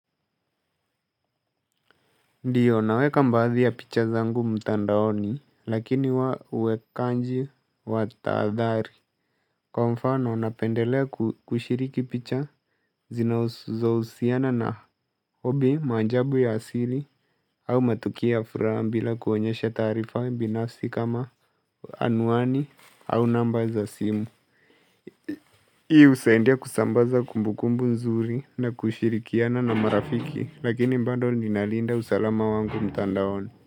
Ndiyo naweka baadhi ya picha zangu mtandaoni lakini wa uwekanji wa tahadhari. Kwa mfano napendelea kushiriki picha zinauzo husiana na hobi maajabu ya asili au matukio ya furaha bila kuonyesha taarifa binafsi kama anwani au namba za simu. Hii husaidia kusambaza kumbukumbu nzuri na kushirikiana na marafiki lakini bado ninalinda usalama wangu mtandaoni.